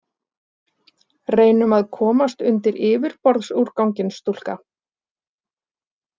Reynum að komast undir yfirborðsúrganginn, stúlka.